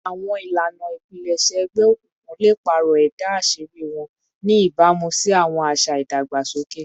Awọn ilana ipilẹṣẹ egbeokunkun le paarọ ẹda aṣiri wọn, ni ibamu si awọn aṣa idagbasoke